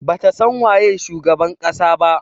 Bata san waye shugaban kasa ba.